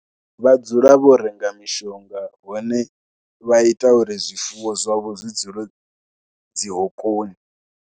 Vha dzula vho renga mishonga vhone vha ita uri zwifuwo zwavho zwi dzule dzi hokoni.